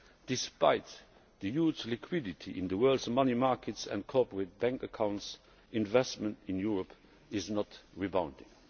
Despite the huge liquidity in the world's money markets and corporate bank accounts, investment in Europe is not rebounding.